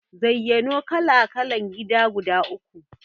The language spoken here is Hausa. Zayyano kala-kalan gida guda uku?